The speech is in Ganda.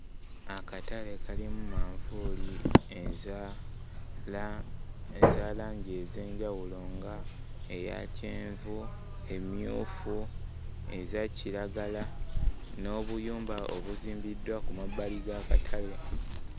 Akatale kalimu manvuuli eza laa eza langi ez'enjawulo nga eya kyenvu, emmyufu, eza kiragala n'obuyumba obuzimbiddwa ku mabbali g'akatale.